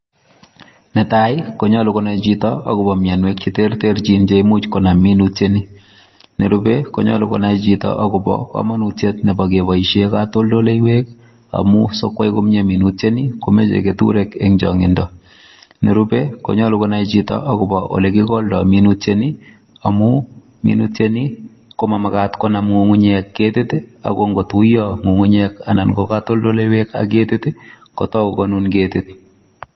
Netai ii konyaluu Konami chitoo mianwagiik cheimuuch Konam minute ni nerupe konyaluu Konami chitoo ago bo kamanutiet ne nyaluu kebaishen katoltoleweek amuun sikoyai komyei minute ni ko machei ketureek eng changindo nerupe ko nyaluu Konami chitoo ago bo ole kigoldaa minute nii amuun minutiet ko manakat Konam kutiet minutiet ni ako Ingo tuyaa ngungunyek anan ko katoltoleweek ak keto it ii koyai konuu ketiit.